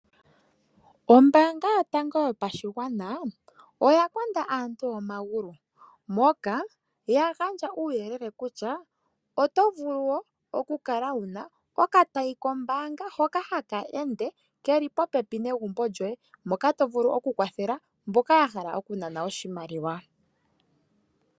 Ombaanga yotango yopashigwana oya konda aantu omagulu, moka ya gandja uuyelele kutya otovulu wo okukala wuna okatayi kombaanga hoka haka ende ke li popepi negumbo lyoye, moka to vulu oku kwathela mboka ya hala okunana oshimaliwa.